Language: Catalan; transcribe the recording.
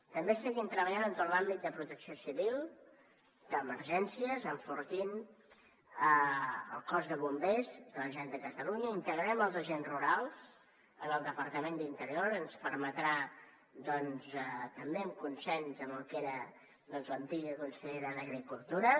també seguim treballant en tot l’àmbit de protecció civil d’emergències enfortint el cos de bombers de la generalitat de catalunya i integrem els agents rurals en el departament d’interior ens permetrà doncs també amb consens amb el que era l’antiga consellera d’agricultura